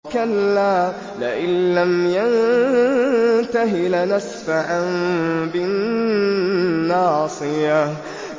كَلَّا لَئِن لَّمْ يَنتَهِ لَنَسْفَعًا بِالنَّاصِيَةِ